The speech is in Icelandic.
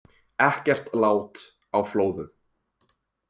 Ekkert lát á flóðum